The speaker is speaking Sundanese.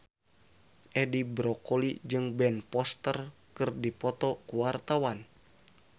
Edi Brokoli jeung Ben Foster keur dipoto ku wartawan